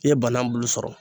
I ye bana bulu sɔrɔ